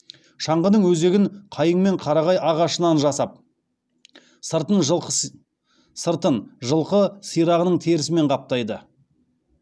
шаңғыны өзегін қайың мен қарағай ағашынан жасап сыртын жылқы сирағының терісімен қаптайды